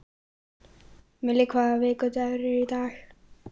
Millý, hvaða vikudagur er í dag?